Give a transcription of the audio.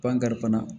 Pan kari fana